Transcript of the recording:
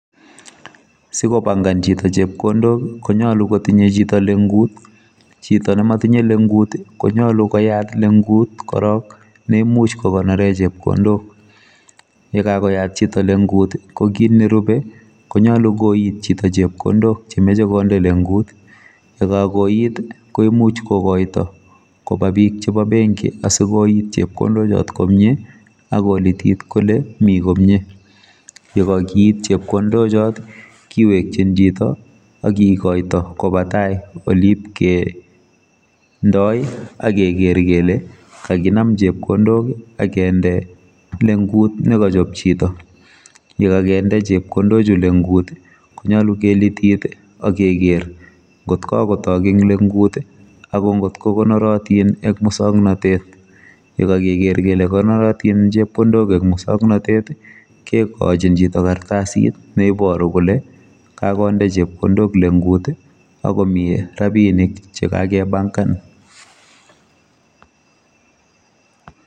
Sikobankan chito chepkondok konyolu kotinye chito lengut. Chito nematinye lengut[i] konyolu koyat lengut korok neimuch kokonore chepkondok yekakoyat chito lengut[i] kokit nerube konyalu koit chito chepkondok chemoche konde lengut yekakoit komuch kokoito koba bik chebo benki asikoit chepkondochot komye akolitit kole mi komye yekakeit chepkondochot kiwekyin chito akikoito koba tai oliibkendoi akeker kele kakinam chepkondok akende lengut nekochop chito yekakende chepkondochu lengut[i] konyalu kelitit akeker ngotkokotok eng lengut akongotko konorotin eng musoknotet yekakeker kele konoritin chepkondok eng musoknotet kekochin chito kartasit neibaru kole kakonde chepkondok lengut akomi rabinik chekake bankan.